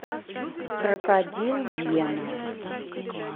крокодил гена